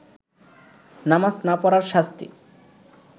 নামাজ না পড়ার শাস্তি